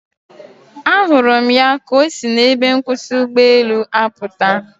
A hụrụ m ya ka osi na ebe nkwusi ụgbọelu aputa